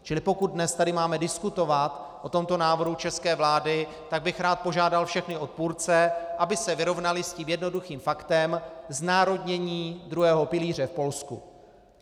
Čili pokud dnes tady máme diskutovat o tomto návrhu české vlády, tak bych rád požádal všechny odpůrce, aby se vyrovnali s tím jednoduchým faktem znárodnění druhého pilíře v Polsku.